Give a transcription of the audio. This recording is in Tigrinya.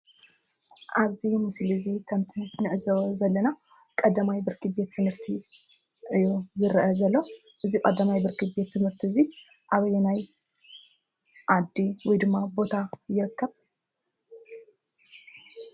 ኣብ እዚ ምስሊ እዙይ ከም እቲ ንዕዘቦ ዘለና ቀዳማይ ብርኪ ቤት ትምርቲ እዩ ዝረአ ዘሎ። እዚ ቀዳማይ ብርኪ ቤት ትምርቲ እዚ ኣበየናይ ዓዲ ወይ ድማ ቦታ ይርከብ ?